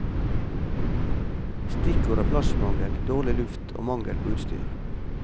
Stikkord er plassmangel, dårlig luft og mangel på utstyr.